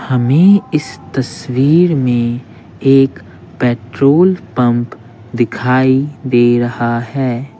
हमें इस तस्वीर में एक पेट्रोल पंप दिखाई दे रहा है।